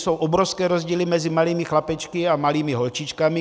Jsou obrovské rozdíly mezi malými chlapečky a malými holčičkami.